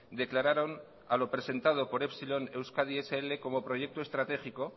declararon a lo presentado por epsilon euskadi scincuenta como proyecto estratégico